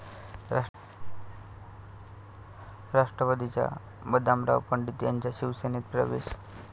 राष्ट्रवादीच्या बदामराव पंडित यांचा शिवसेनेत प्रवेश